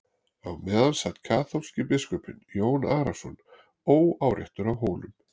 Á meðan sat kaþólski biskupinn Jón Arason óáreittur á Hólum.